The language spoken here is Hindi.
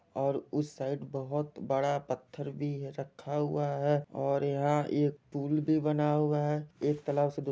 और उस साइड बहोत बड़ा पत्थर भी रखा हुआ है और यहां एक पुल भी बना हुआ है एक तालाब से --